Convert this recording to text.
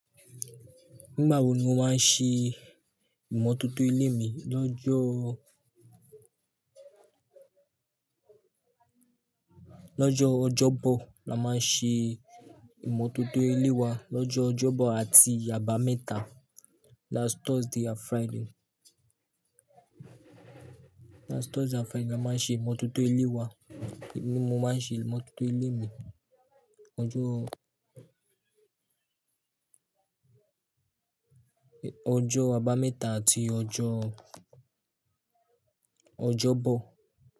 Nígbà wo ni wọ́n máa ń ṣe ìmọ́tótó ilé mi? Lọ́jọ, lọ́jọ́ Ọjọ́bọ̀ la máa ń ṣe ìmọ̀tótó ilé wa, lọ́jọ́ Ọjọ́bọ̀ àti àbámẹ́ta, last Thursday and Friday. Last Thursday and Friday ni a máa ń ṣe ìmọ̀tótó ilé wa. Èmi, mo máa ń ṣe ìmọ́tótó ilé mi ọjọ́, ọjọ́ àbámẹ́ta àti ọjọ́ Ọjọ́bọ̀